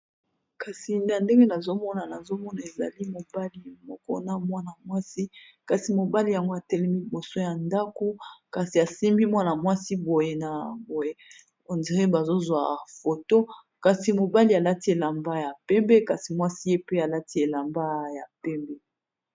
kasi na ndenge nazomona nazomona ezali mobali mokona mwana mwasi kasi mobali yango atelimiliboso ya ndako kasi asimbi mwana mwasi bazozwa foto kasi mobali alati elamba ya pembe kasi mwasi ye pe alati elamba ya pembe